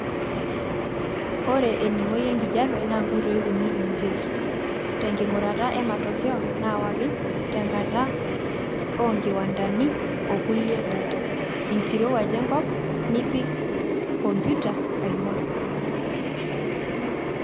Ore eningoi enkijiepe naa nkoitoi uni eingorieki; tenkingurata e matokeo naawaki tenkata oonkiwandani okulie data enkirowuaj enkop nipik kompita aingorr.